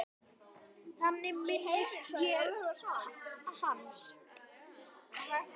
Þannig minnist ég hans.